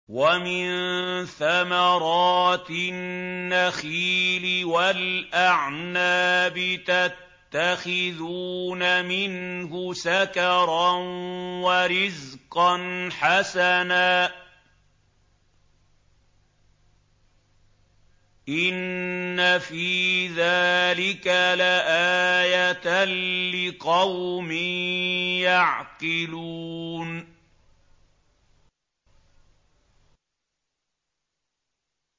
وَمِن ثَمَرَاتِ النَّخِيلِ وَالْأَعْنَابِ تَتَّخِذُونَ مِنْهُ سَكَرًا وَرِزْقًا حَسَنًا ۗ إِنَّ فِي ذَٰلِكَ لَآيَةً لِّقَوْمٍ يَعْقِلُونَ